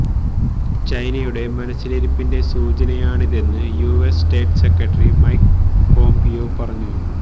ചൈനയുടെ മനസ്സിലിരിപ്പിന്റെ സൂചനയാണിതെന്ന് US state secretary Mike Pompeo പറഞ്ഞു